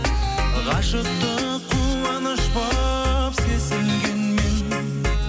ғашықтық қуаныш болып сезілгенмен